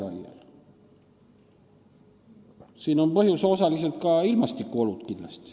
Osaliselt on siin põhjuseks kindlasti ka ilmastikuolud.